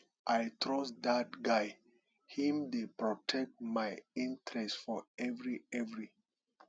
i trust dat guy him dey protect my interest for every every